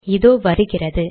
இதோ வருகிறது